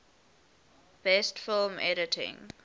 best film editing